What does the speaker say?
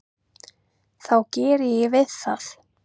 þá geri ég við það.